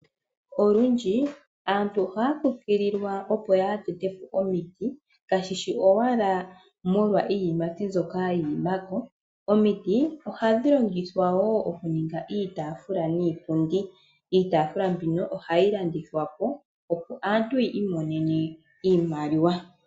Olundji aantu ohaya kunkililwa opo ya tete po omiti kashishi owala molwa iiyimati mbyoka iiyimati mbyoka yiima ko. Omiti ohadhi longithwa wo okuninga iitafula niipundi, iitafula mbika ohayi landithwa po opo aantu yiimonene iimaliwa.